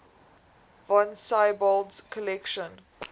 von siebold's collection